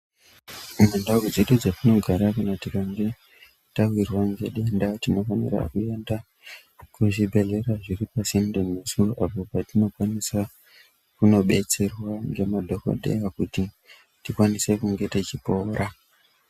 Mundau dzedu dzatinogara kana tikange tawirwa nedenda tinofanira kuenda kuzvibhehlera zviri pasinde nesu apo pationokwanisa kunobetserwa nemadhokodheya kuti tikwanise kunge tichipora